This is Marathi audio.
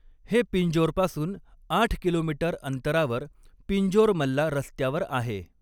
हे पिंजोरपासून आठ किलोमीटर अंतरावर, पिंजोर मल्ला रस्त्यावर आहे.